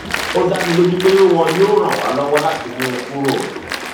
ó dá mi lójú pé wọn yóò ràn wá lọwọ láti mú un kúrò